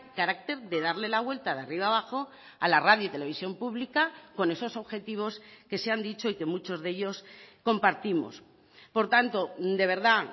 carácter de darle la vuelta de arriba abajo a la radio y televisión pública con esos objetivos que se han dicho y que muchos de ellos compartimos por tanto de verdad